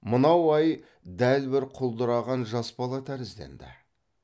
мынау ай дәл бір құлдыраған жас бала тәрізденді